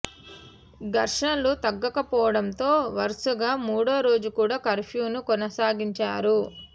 ఘర్షణలు తగ్గకపోవడంతో వరుసగా మూడో రోజు కూడా కర్ఫ్యూ ను కొనసాగించారు